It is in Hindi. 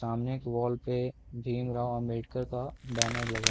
सामने एक वॉल पे भीम रॉव आंबेडकर का बैनर लगा --